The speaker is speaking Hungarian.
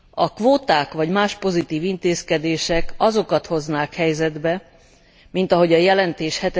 A kvóták vagy más pozitív intézkedések azokat hoznák helyzetbe mint ahogy a jelentés